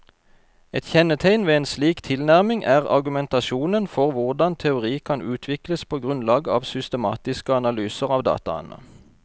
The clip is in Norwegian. Et kjennetegn ved en slik tilnærming er argumentasjonen for hvordan teori kan utvikles på grunnlag av systematiske analyser av dataene.